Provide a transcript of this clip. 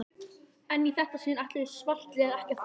En í þetta sinn ætluðu svartliðar ekki að þola